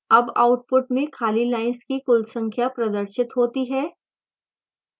अब output में खाली lines की कुल संख्या प्रदर्शित होती है